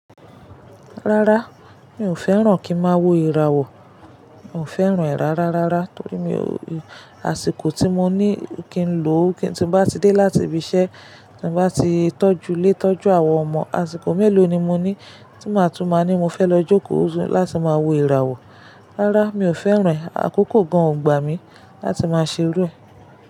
Rárá, mi ò fẹ́ràn kí n máa wo ìràwọ̀. Mi ò fẹ́ràn ìrà rárá rárá torí mi o-- àsìkò tí mo ní kí n lò ó kí, tí bá ti dé láti ibi iṣẹ́, tí bá ti tọ́jú lé tọ́jú àwọn ọmọ, àsìkò mélòó ni mo ní tí màá tú máa ní mo fẹ́ lọ jókòó láti máa wo ìràwọ̀? Rárá, mi ò fẹ́ràn rẹ̀. Àkókò gan ò gbà mí láti máa ṣe ru rẹ̀